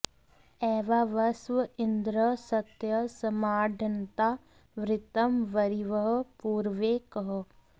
एवा वस्व इन्द्रः सत्यः सम्राड्ढन्ता वृत्रं वरिवः पूरवे कः